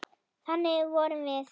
Þannig vorum við.